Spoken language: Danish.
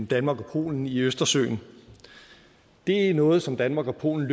danmark og polen i østersøen det er noget som danmark og polen